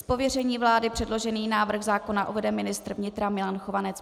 Z pověření vlády předložený návrh zákona uvede ministr vnitra Milan Chovanec.